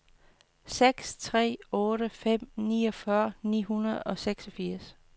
seks tre otte fem niogfyrre ni hundrede og seksogfirs